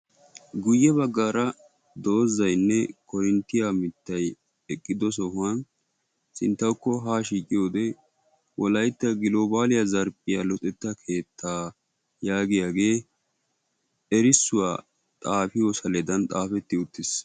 Guyyebaggara doozzaynne korinttiya miittay eqqido sohuwan sinttawuko ha shiiqiyode wolaytta globaliyaa zarphphiyaa luxetta keettaa yaagiyagee erissuwaa xaafiyo saaledan xaafetti uttiis.